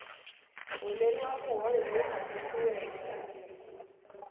holeriwa muholo lowu andzisiweke kambirhi